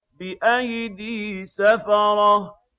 بِأَيْدِي سَفَرَةٍ